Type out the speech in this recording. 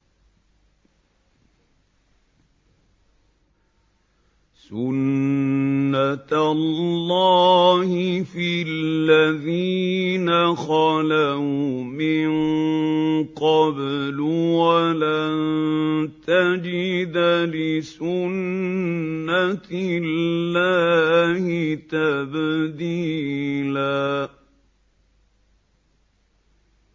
سُنَّةَ اللَّهِ فِي الَّذِينَ خَلَوْا مِن قَبْلُ ۖ وَلَن تَجِدَ لِسُنَّةِ اللَّهِ تَبْدِيلًا